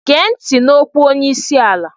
Gee ntị n'okwu onye isi ala!